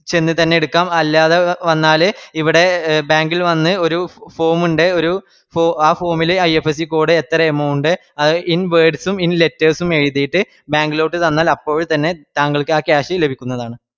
ചെന്നുതന്നെ എടുക്കാം അല്ലാതെ വന്നാല് ഇവിടെ bank ഇൽ വന്ന് ഒരു form ഇൻഡ് ഒരു ആ form ൽ IFSC code എത്ര amount in words ഉം in letters ഉം എഴ്ത്തീറ്റ് bank ലോട്ട് തന്നാൽ അപ്പോൾ തന്നെ താങ്കൾക്ക് ആ cash ലഭിക്കുന്നതാണ്